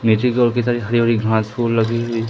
नीचे की ओर के साइड हरी-भरी घास फुल लगी हुई --